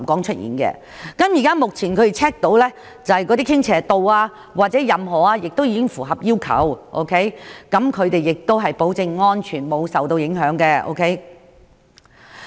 他們現時已檢查並確定有關傾斜度或任何指標均已符合要求，保證樓宇安全沒有受到影響。